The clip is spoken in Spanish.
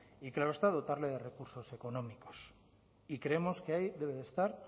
y claro está dotarle de recursos económicos y creemos que ahí debe de estar